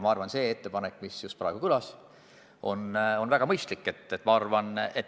Ma arvan, et ettepanek, mis just praegu kõlas, on väga mõistlik.